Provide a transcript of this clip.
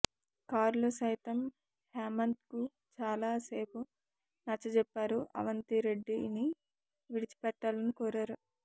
కారులో సైతం హేమంత్కు చాలా సేపు నచ్చజెప్పారు అవంతిరెడ్డిని విడిచిపెట్టాలని కోరారు